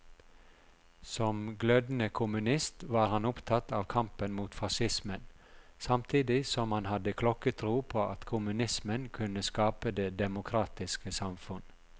Som glødende kommunist var han opptatt av kampen mot facismen, samtidig som han hadde klokketro på at kommunismen kunne skape det demokratiske samfunn.